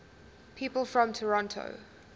people from toronto